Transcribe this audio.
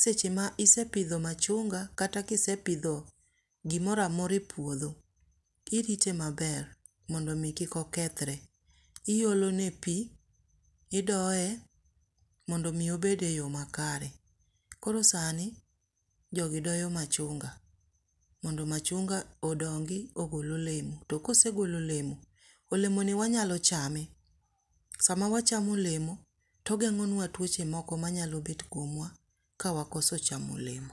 seche ma isepidho machunga kata ka isepidho gimoro amora e puodho, irite maber mondo mi kik okethre. Iolone pi idoye mondo mi obed eyo makare. Koro sani jogi doyo machunga mondo machunga odongi ogol olemo, to ka osegolo olemo, olemoni wanyalo chame, sama wachamo olemo to ogeng'onua tuoche moko manyalo bet kuom wa kawakoso chamo olemo.